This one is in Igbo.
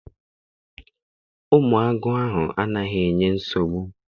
Ụmụ agụ ahụ anaghị enye nsogbu.